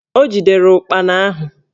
O jidere ụkpana ahụ